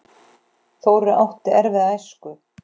Þórir átti erfiða æsku.